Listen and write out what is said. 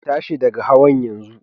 Ku tashi daga hawan yanzu!